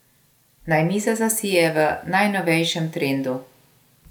Naj miza zasije v najnovejšem trendu!